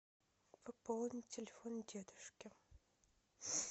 пополнить телефон дедушки